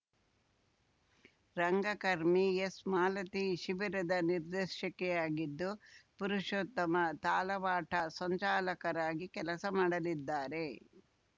ರಂಗಕರ್ಮಿ ಎಸ್‌ಮಾಲತಿ ಶಿಬಿರದ ನಿರ್ದೇಶಕಿಯಾಗಿದ್ದು ಪುರುಷೋತ್ತಮ ತಾಲವಾಟ ಸಂಚಾಲಕರಾಗಿ ಕೆಲಸ ಮಾಡಲಿದ್ದಾರೆ